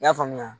I y'a faamuya